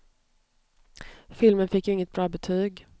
Filmen fick ju inget bra betyg.